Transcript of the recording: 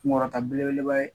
Kun kɔrɔta belebeleba ye